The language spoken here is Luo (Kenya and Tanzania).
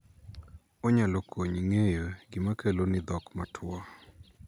Onyalo konyi ng'eyo gima keloni dhok matwo.